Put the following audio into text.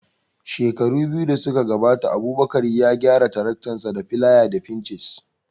Shekara biyu da suka wuce Abubakar ya gyara taraktansa da filaya da fincis